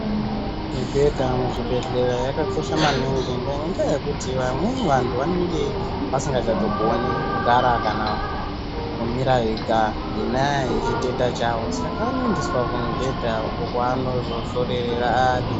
Mibhedha muzvibhedhlera yakakosha maningi ngendaa yekuti vamweni vantu vanenge vasingachatogoni kugara kana kumira vega ngenyaya yechitenda chavo. Saka vanoendeswa kumubhedha uko kwaanozozororera ari.